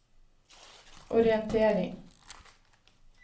orientering